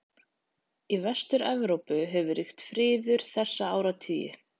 Í Vestur-Evrópu hefur ríkt friður þessa áratugi.